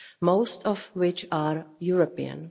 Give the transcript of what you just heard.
most of which are European.